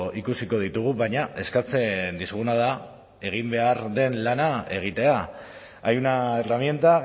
ikusiko ditugu baina eskatzen dizuguna da egin behar den lana egitea hay una herramienta